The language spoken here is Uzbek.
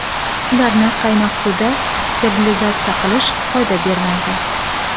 Ularni qaynoq suvda sterilizatsiya qilish foyda bermaydi.